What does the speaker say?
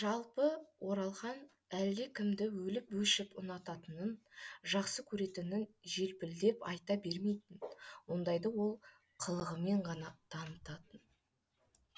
жалпы оралхан әлдекімді өліп өшіп ұнататынын жақсы көретінін желпілдеп айта бермейтін ондайды ол қылығымен ғана танытатын